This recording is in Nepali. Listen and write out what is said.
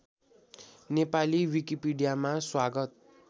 नेपाली विकिपीडियामा स्वागत